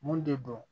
Mun de don